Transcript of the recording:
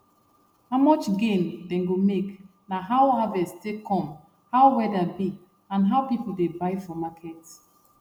how much gain dem go make na how harvest take come how weather be and how people dey buy for market